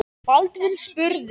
Baldvin spurði